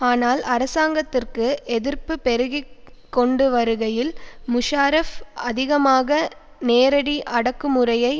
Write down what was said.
ஆனால் அரசாங்கத்திற்கு எதிர்ப்பு பெருகி கொண்டுவருகையில் முஷாரஃப் அதிகமாக நேரடி அடக்குமுறையை